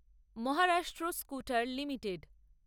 Maharashtra scooter limited